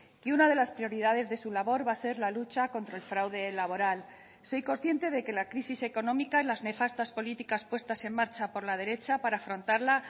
que una de las prioridades de su labor va a ser la lucha contra el fraude laboral soy consciente de que la crisis económica las nefastas políticas puestas en marcha por la derecha para afrontarla